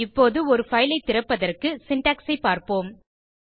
இப்போது ஒரு பைல் ஐ திறப்பதற்கு சின்டாக்ஸ் ஐ பார்ப்போம்